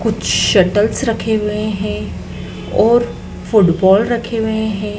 कुछ शटल्स रखे हुए हैं और फुटबॉल रखे हुए है।